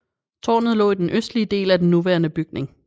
Tårnet lå i den østlige del af den nuværende bygning